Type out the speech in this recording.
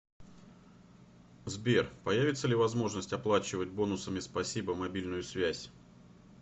сбер появится ли возможность оплачивать бонусами спасибо мобильную связь